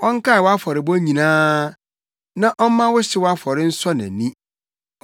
Ɔnkae wʼafɔrebɔ nyinaa, na ɔmma wo hyew afɔre nsɔ nʼani.